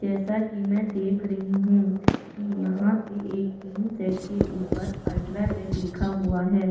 जैसा की में देख रही हूँ की यहाँ पे एक टीन शेड के ऊपर अल्ट्राटेक लिखा हुआ है।